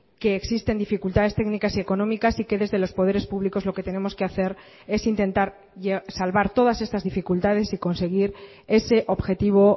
que existen dificultades técnicas y económicas y que desde los poderes públicos lo que tenemos que hacer es intentar salvar todas estas dificultades y conseguir ese objetivo